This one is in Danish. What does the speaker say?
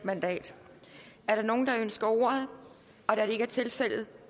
mandat er der nogen der ønsker ordet da det ikke er tilfældet